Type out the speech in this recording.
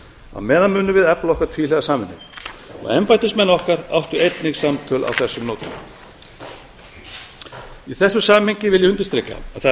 á meðan munum við efla okkar tvíhliða samvinnu og embættismenn okkar áttu einnig samtöl á þessum nótum í þessu samhengi vil ég undirstrika að það er margt